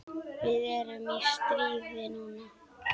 Við erum í stríði núna.